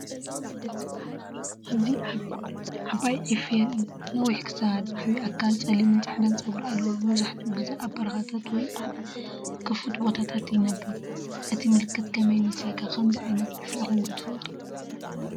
ኣብዚ ዓባይ ዒፍ የርኢ። ነዊሕ ክሳድ፡ ዓቢ ኣካል፡ ጸሊምን ጻዕዳን ጸጉሪ ኣለዎ። መብዛሕትኡ ግዜ ኣብ በረኻታት ወይ ኣብ ክፉት ቦታታት ይነብር። እቲ ምልክት ከመይ ይመስለካ ከምዚ ዓይነት ዒፍ ሪእኩም ዶ ትፈልጡ?